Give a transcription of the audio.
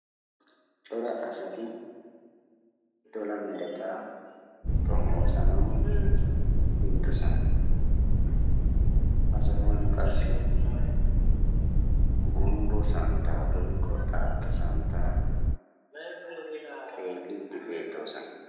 Cora asati dola meretaa xomoosanawu biidosona. Ha sohuwan qassi gumbbo santtaa woyikko xaatta santtaa xeelliiddi beettoosona.